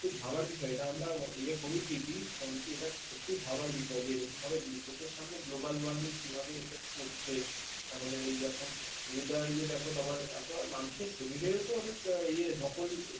খুব ভাবার বিষয় আমরা ইয়ে করি ঠিকই কিন্তু সত্যি ভাবার বিষয় যে এরকম ভাবে চোখের সামনে global warming কিভাবে effect করছে আমাদের এই এখন weather ইয়ে দেখ এত মানুষের শরীরের ও তো ইয়ে দকল